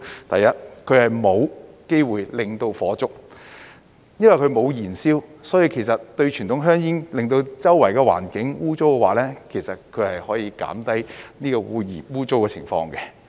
第二，它沒有機會導致火災，因為它沒有燃燒，所以相對於傳統香煙會弄污四周環境的話，其實它可以減低污穢的情況。